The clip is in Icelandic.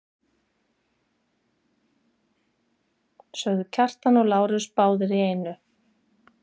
sögðu Kjartan og Lárus báðir í einu.